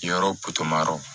Yɔrɔ yɔrɔ